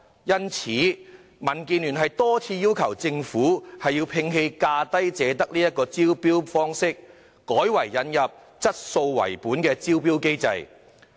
因此，民建聯多次要求政府摒棄"價低者得"的招標方式，改為引入以質素為本的招標機制。